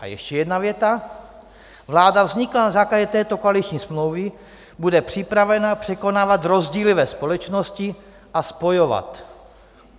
A ještě jedna věta: "Vláda vzniklá na základě této koaliční smlouvy bude připravena překonávat rozdíly ve společnosti a spojovat.